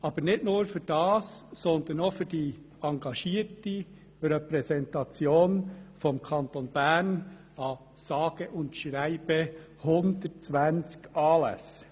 Aber nicht nur dafür, sondern auch für die engagierte Repräsentation des Kantons Bern an sage und schreibe 120 Anlässen.